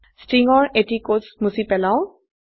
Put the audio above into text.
string ৰ এটি কোটছ মুছি পেলাও